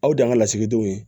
Aw de y'an ka lasigidenw ye